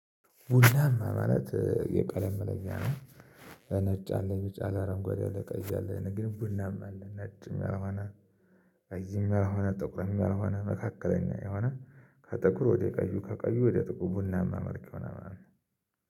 ቡናማ ማለት የቀለም መለኛ ነው። ነጭ አለኝ ቢጫ አረንጓዴ አለ ቀይ አለ ግን ቡላማ አለ ነጭም ያልሆነ አይዝም ያልሆነ ጥቁርም ያልሆነ መካከለኛ የሆነ። ከጥቁር ወደ ቀዩ ከቀዩ ወደ ጥቁር ቡናማ መልክ ሆነ ማለት ነው።